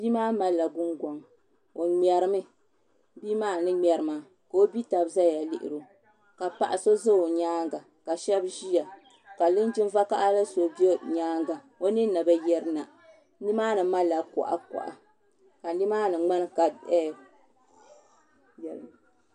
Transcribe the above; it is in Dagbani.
Bia maa malila gungoŋ o ŋmɛrimi bia maa ni ŋmɛri maa ka o bia tabi ʒɛya yuundi o ka paɣa so ʒɛ o nyaanga ka shab ʒiya ka Linjima vakaɣala so bɛ nyaanga o ninni bi yirina nimaani malila kuɣa kuɣa ka nimaani ŋmani ka